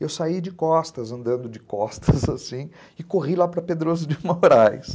Eu saí de costas, andando de costas, assim, e corri lá para Pedroso de Moraes